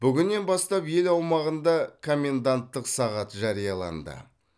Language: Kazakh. бүгіннен бастап ел аумағында коменданттық сағат жарияланды